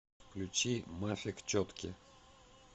включи мафик четки